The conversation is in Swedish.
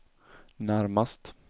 närmast